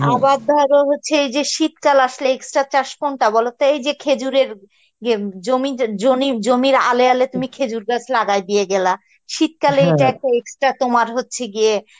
ধরো হচ্ছে এই যে শীতকাল আসলে extra চাস কোনটা বলতো, এই যে খেজুরের গে~ জমি জনি~ জমির এলে এলে তুমি খেজুরগাছ লাগিয়ে গেলা শীত extra তোমার হচ্ছে গিয়ে